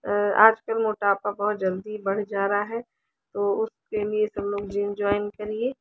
अ आज कल मोटापा बोहोत जल्दी बढ़ जा रहा है तो उसके लिए तो सब लोग जिम जॉइन करिए ।